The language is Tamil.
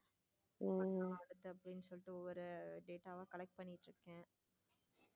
அடுத்து அப்படின்னு சொல்லிட்டு ஒரு ஒரு data வா collect பண்ணிட்டு இருக்கேன்.